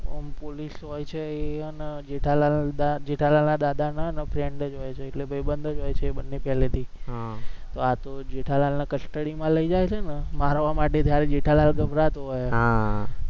police હોય છે એને જેઠાલાલના દાદાના friend જ હોય છે એટલે ભાઈબંધ જ હોય છે એ બંને પહેલેથી હમ હા તો જેઠાલાલને custody માં લઇ જાય છે ને મારવા માટે ત્યારે જેઠાલાલ ગભરાતો હોય હમ